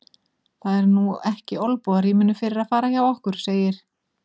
Það er nú ekki olnbogarýminu fyrir að fara hjá okkur, segir